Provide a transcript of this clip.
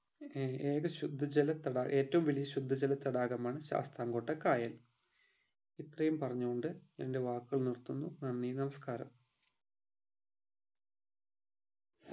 ഏർ ഏക ശുദ്ധ ജല തടാക ഏറ്റവും വലിയ ശുദ്ധജല തടാകമാണ് ശാസ്താംകോട്ട കായൽ ഇത്രയും പറഞ്ഞു കൊണ്ട് എൻ്റെ വാക്കുകൾ നിർത്തുന്നു നന്ദി നമസ്‌കാരം